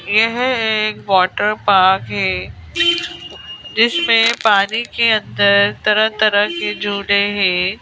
यह एक water park है जिसमें पानी के अंदर तरह-तरह के झूले हैं।